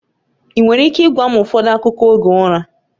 Ị nwere ike ịgwa m ụfọdụ akụkọ oge ụra?